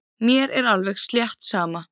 Mér er alveg slétt sama.